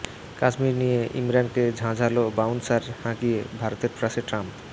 কাশ্মীর নিয়ে ইমরানকে ঝাঁঝালো বাউন্সার হাঁকিয়ে ভারতের পাশে ট্রাম্প